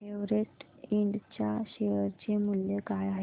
Everest Ind च्या share चे मूल्य काय आहे